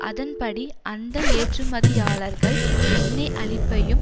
அதன்படி அந்த ஏற்றுமதியாளர்கள் எண்ணெய் அளிப்பையும்